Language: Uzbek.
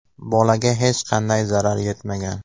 Bolaga hech qanday zarar yetmagan.